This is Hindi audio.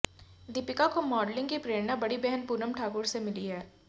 दीपिका को मॉडलिंग की प्ररेणा बड़ी बहन पूनम ठाकुर से मिली है